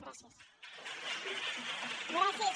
gràcies